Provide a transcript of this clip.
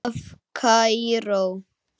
Mynd af Kaíró